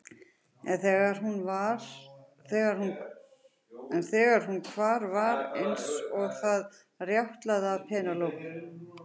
En þegar hún hvar var eins og það rjátlaði af Penélope.